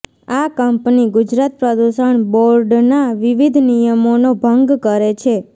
આ કંપની ગુજરાત પ્રદૂષણ બોર્ડના વિવિધ નિયમોનો ભંગ કરે છે